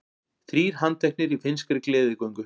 Þrír handteknir í finnskri gleðigöngu